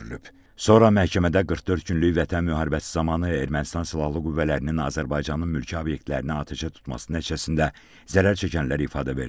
Sonra məhkəmədə 44 günlük vətən müharibəsi zamanı Ermənistan Silahlı Qüvvələrinin Azərbaycanın mülki obyektlərini atəşə tutması nəticəsində zərər çəkənlər ifadə verdilər.